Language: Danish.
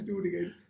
Studiegæld